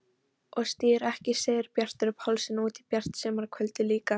Og stígur ekki Sigurbjartur Pálsson út í bjart sumarkvöldið líka!